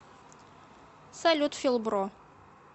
салют фил бро